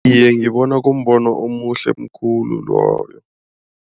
Iye ngibona kumbono omuhle khulu loyo.